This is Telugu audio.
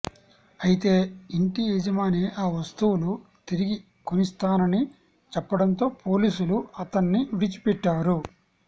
అయితే ఇంటి యజమాని ఆ వస్తువులు తిరిగి కొనిస్తాని చెప్పడంతో పోలీసులు అతన్ని విడిచిపెట్టారు